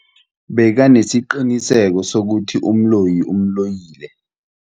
Bekanesiqiniseko sokuthi umloyi umloyile.